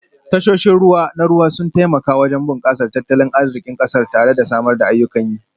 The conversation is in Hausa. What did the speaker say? Tashoshin ruwa na ruwa sun taimaka wajen bunkasar tattalin arzikin kasar tare da samar da ayyukan yi